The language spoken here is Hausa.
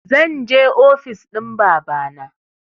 Zanje ofis ɗin babana